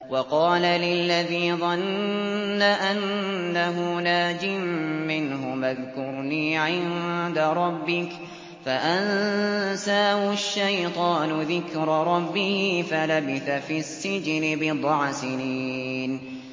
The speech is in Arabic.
وَقَالَ لِلَّذِي ظَنَّ أَنَّهُ نَاجٍ مِّنْهُمَا اذْكُرْنِي عِندَ رَبِّكَ فَأَنسَاهُ الشَّيْطَانُ ذِكْرَ رَبِّهِ فَلَبِثَ فِي السِّجْنِ بِضْعَ سِنِينَ